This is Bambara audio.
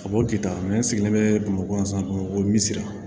A b'o kɛ tan n sigilen bɛ bamakɔ yan san bamakɔ misi la